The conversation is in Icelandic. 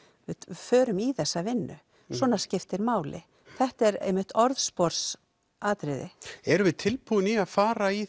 förum í þessa vinnu svona skiptir máli þetta er einmitt orðspors atriði erum við tilbúin í að fara í